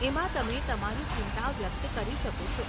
એમાં તમે તમારી ચિંતા વ્યક્ત કરી શકો છો .